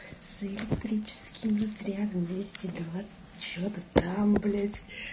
с электрическим разрядом двести двадцать что то там блять